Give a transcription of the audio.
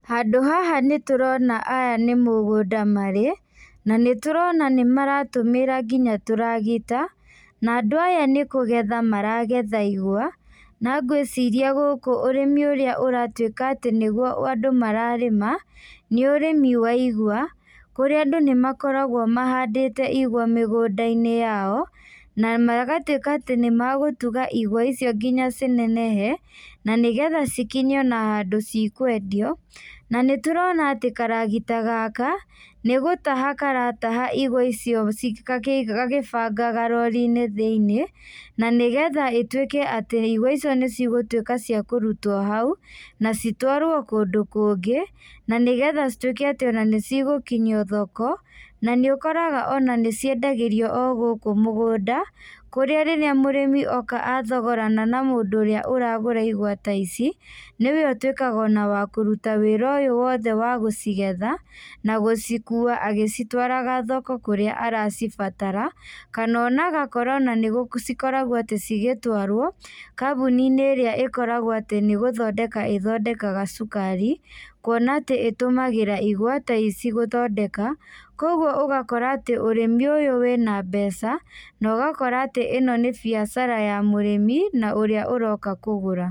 Handũ haha nĩtũrona aya nĩ mũgũnda marĩ, na nĩtũrona nĩmaratũmĩra nginya tũragita, na andũ aya nĩkũgetha maragetha igwa, na ngwĩciria gũkũ ũrĩmi ũrĩa ũratuĩka atĩ nĩguo andũ mararĩma, nĩ ũrĩmi wa igwa, kũrĩa andũ nĩmakoragwo mahandĩte igwa mĩgũnda-inĩ yao, na magatuĩka atĩ nĩmagũtuga igwa icio nginya cinenehe, na nĩgetha cikinye ona handũ cikwendio, na nĩtũrona atĩ karagita gaka, nĩgũtaha karataha igwa icio ci gagĩbanga rori-inĩ thĩiniĩ, na nĩgetha ĩtuĩke atĩ igwa icio nĩcigũtuĩka cia kũrutwo hau, na citwarwo kũndũ kũngĩ, na nĩgetha cituĩke atĩ ona nĩcigũkinyio thoko, na nĩ ũkoraga ona nĩciendagĩrwo o gũkũ mũgũnda, kũrĩa rĩrĩa mũrĩmi oka athogorana na mũndũ ũrĩa ũragũra igwa ta ici, nĩwe ũtuĩkaga ona wa kũruta wĩra ũyũ wothe wa gũcigetha, na gũcikua agĩcitwaraga thoko kũrĩa aracibatara, kana ona agakorwo ona gũ cikoragwo atĩ cigĩtwarwo, kambũni-inĩ ĩrĩa ĩkoragwo atĩ nĩgũthondeka ĩthondekaga cukari, kuona atĩ ĩtũmagĩra igwa ta ici gũthondeka, koguo ũgakora atĩ ũrĩmi ũyũ wĩna mbeca, na ũgakora atĩ ĩno nĩ biacara ya mũrĩmi, na ũrĩa ũroka kũgũra.